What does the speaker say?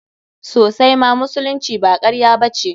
Sosaima, musulunci ba karya ba ce.